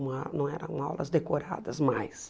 uma não eram aulas decoradas mais.